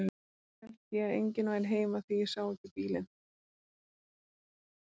Fyrst hélt ég að enginn væri heima því ég sá ekki bílinn.